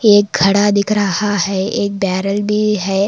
एक घड़ा दिख रहा है एक बैरल भी है।